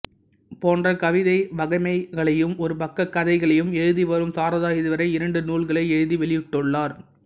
போன்ற கவிதை வகைமைகளையும் ஒரு பக்கக் கதைகளையும் எழுதிவரும் சாரதா இதுவரை இரண்டு நூல்களை எழுதி வெளியிட்டுள்ளார்